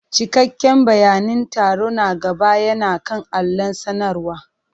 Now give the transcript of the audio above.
Cikakken bayanin taro na gaba yana kan allon sanarwa.